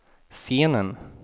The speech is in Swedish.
scenen